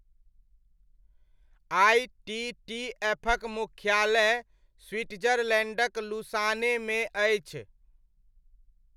आईटीटीएफ'क मुख्यालय स्विट्जरलैण्डक लुसानेमे अछि।